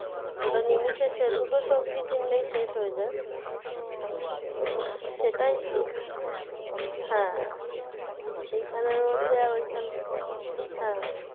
ওটা নিমেসে দুটো সবজি কিনলেই শেষ হয়ে যায়। তো সেটাই হ্যাঁ এইখানের মধ্যে আর ওইখানে,